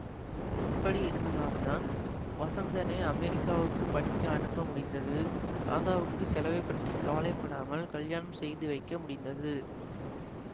அப்படி இருந்ததால்தான் வசந்தனை அமெரிக்காவுக்குப் படிக்க அனுப்ப முடிந்தது ராதாவுக்குச் செலவை பற்றி கவலை படாமல் கல்யாணம் செய்து வைக்க முடிந்தது